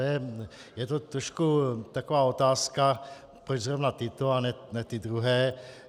Je to trochu taková otázka, proč zrovna tyto a ne ty druhé.